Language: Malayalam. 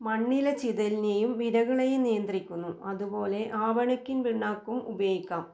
മണ്ണിലെ ചിതലിനെയും വിരകളേയും നിയന്ത്രിക്കുന്നു അതുപോലെ ആവണക്കിൻ പിണ്ണാക്കും ഉപയോഗിക്കാം.